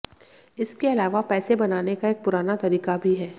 इसके अलावा पैसे बनाने का एक पुराना तरीका भी है